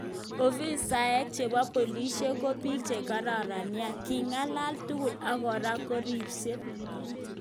ofisaek chepo polishek ko pik chekaran nia, kingalale tugul ak kora koripshen